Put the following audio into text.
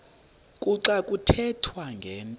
kuxa kuthethwa ngento